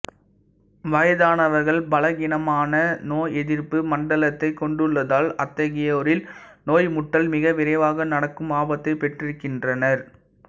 வயதானவர்கள் பலகீனமான நோயெதிர்ப்பு மண்டலத்தைக் கொண்டுள்ளதால் அத்தகையோரில் நோய் முற்றல் மிக விரைவாக நடக்கும் ஆபத்தைப் பெற்றிருக்கின்றனர்